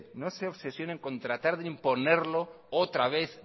no se obsesionen con tratar de imponerlo otra vez